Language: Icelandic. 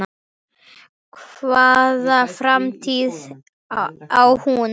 Hvaða framtíð á hún?